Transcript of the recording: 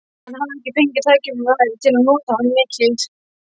Hann hafði ekki fengið tækifæri til að nota hana mikið.